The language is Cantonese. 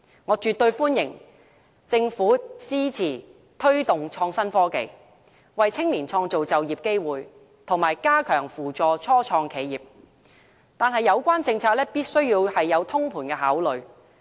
我絕對歡迎政府支持推動創新科技，為青年創造就業機會，以及加強扶助初創企業，但有關政策必須有通盤考慮。